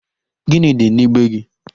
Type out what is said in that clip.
Gịnị dị n'igbe gị?